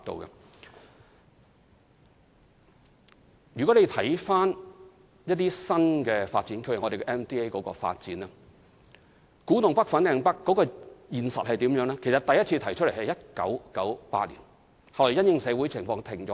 以某些新發展區的發展為例，古洞北/粉嶺北的發展計劃在1998年首次提出，後來因應社會情況而停頓下來。